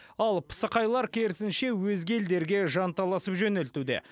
ал пысықайлар керісінше өзге елдерге жанталасып жөнелтуде